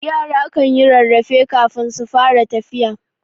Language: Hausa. Yara kanyi rarrafe kafin su fara tafiya.